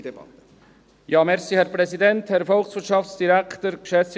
Wir führen eine reduzierte Debatte.